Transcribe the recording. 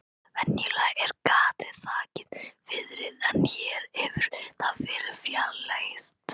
Venjulega er gatið þakið fiðri en hér hefur það verið fjarlægt.